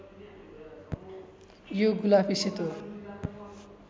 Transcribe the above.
यो गुलाफी सेतो